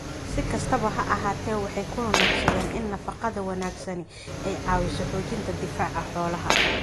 Si kastaba ha ahaatee, waxay ku nuuxnuuxsadeen in nafaqada wanaagsani ay caawiso xoojinta difaaca xoolaha.